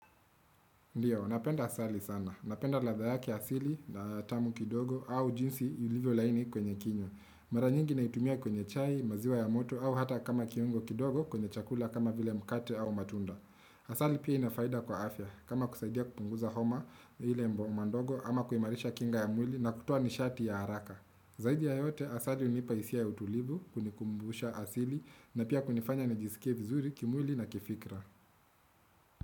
Ndiyo, ninapenda asali sana. Napenda ladha yake asili na tamu kidogo au jinsi ilivyo laini kwenye kinywa. Maranyingi naitumia kwenye chai, maziwa ya moto au hata kama kiungo kidogo kwenye chakula kama vile mkate au matunda. Asali pia inafaida kwa afya kama kusaidia kupunguza homa ile homa ndogo ama kuimarisha kinga ya mwili na kutoa nishati ya haraka. Zaidi ya yote asali hunipa hisia ya utulivu kunikumbusha asili na pia kunifanya nijisikie vizuri kimwili na kifikra.